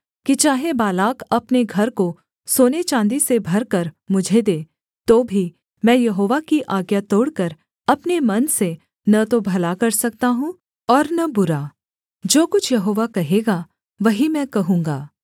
कि चाहे बालाक अपने घर को सोने चाँदी से भरकर मुझे दे तो भी मैं यहोवा की आज्ञा तोड़कर अपने मन से न तो भला कर सकता हूँ और न बुरा जो कुछ यहोवा कहेगा वही मैं कहूँगा